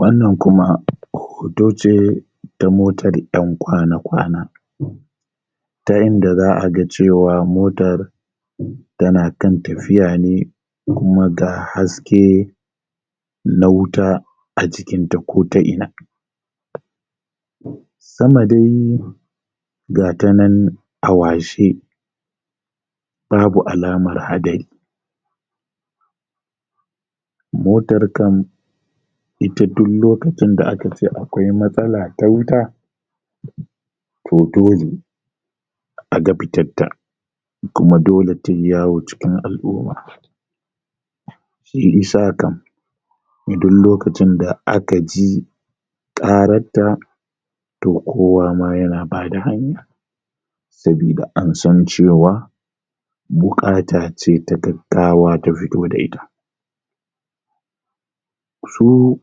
wannan kuma hoto ce ta motar ƴan kwana kwana ta inda za'a ga cewa motar tana kan tafiya ne kuma ga haske na wuta a jikin ta ko ta ina sama dai gata nan a washe babu alamar hadari motar kan ita duk lokacin da aka ce akwai matsala ta wuta to dole aga fitar ta kuma dole tai yawo a cikin al'umma shi i sa kam a duk lokacin da aka ji ƙarar ta to kowa ma yana bada hanya sabida an san cewa buƙata ce ta gaggawa ta fito da ita su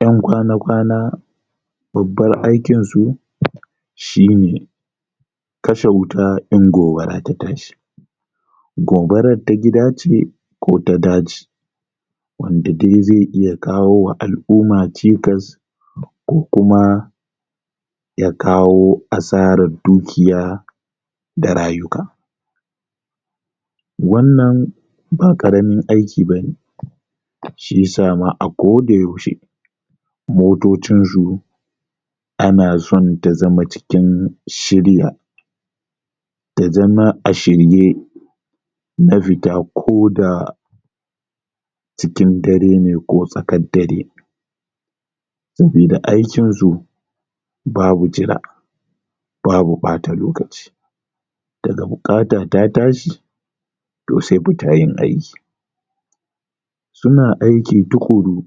ƴan kwana kwana babbar aikin su shine kashe wuta in gobara ta tashi gobarar ta gida ce ko ta daji wanda in ze iya kawowa al'uma cikas ko kuma ya kawo asarar dukiya da rayuka wannan ba ƙaramin aiki bane shi isa ma a koda yaushe motocin su ana so ta zama cikin shirya ta zama a shirye na fita koda cikin dare ne ko tsakar dare saboda aikin su babu jira babu ɓata lokaci daga buƙata ta tashi to se fita yin aiki suna aiki tuƙuru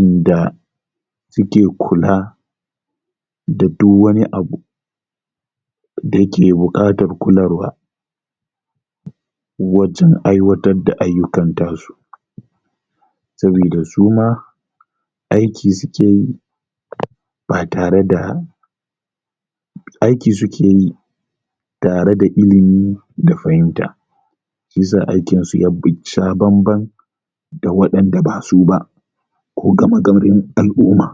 inda suke kula da du wani abu da yake buƙatar kularwa wajar aiwatar da ayyukan tasu sabida suma aiki suke yi ba tare da aiki suke yi tare da ilimi da fahinta shi yisa aikin su yasha bambam da waɗan da basu ba ko gama garin al'umma